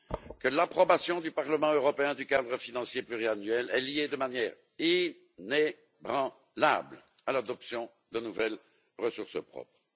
que l'approbation du Parlement européen du cadre financier pluriannuel est liée de manière inébranlable à l'adoption de nouvelles ressources propres.